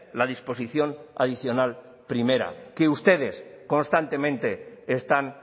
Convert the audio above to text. la disposición adicional primera que ustedes constantemente están